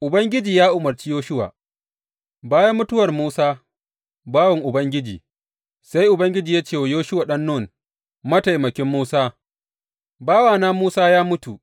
Ubangiji ya umarci Yoshuwa Bayan mutuwar Musa bawan Ubangiji, sai Ubangiji ya ce wa Yoshuwa ɗan Nun, mataimakin Musa, Bawana Musa ya mutu.